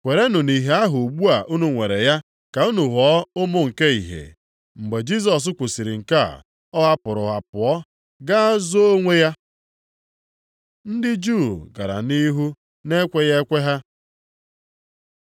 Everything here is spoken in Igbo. Kwerenụ nʼìhè ahụ ugbu a unu nwere ya ka unu ghọọ ụmụ nke ìhè.” Mgbe Jisọs kwusiri nke a ọ hapụrụ ha pụọ ga zoo onwe ya. Ndị Juu gara nʼihu na-ekweghị ekwe ha